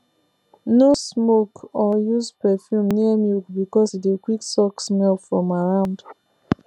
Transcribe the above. no smoke or use perfume near milk because e dey quick suck smell from around